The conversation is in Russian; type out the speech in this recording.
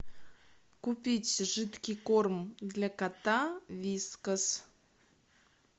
купить жидкий корм для кота вискас